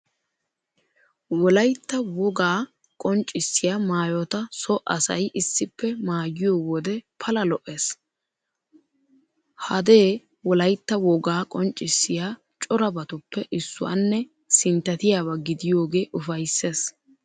Wolaytta wogaa qonccissiya maayota so asay issippe maayiyo wode pala lo"ees. Hadee wolaytta woga qonccissiya corabatuppe issuwanne sinttatiyaba gidiyogee ufayssees.